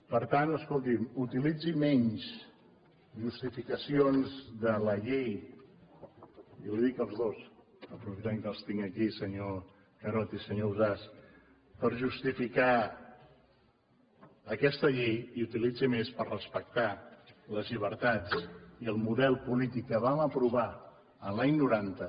per tant escolti’m utilitzi menys justificacions de la llei i ho dic als dos aprofitant que els tinc aquí senyor carod i senyor ausàs per justificar aquesta llei i utilitzin més per respectar les llibertats i el model polític que vam aprovar l’any noranta